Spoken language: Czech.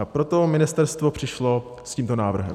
A proto ministerstvo přišlo s tímto návrhem.